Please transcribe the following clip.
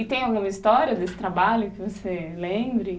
E tem alguma história desse trabalho que você lembre?